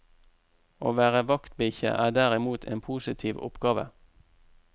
Å være vaktbikkje er derimot en positiv oppgave.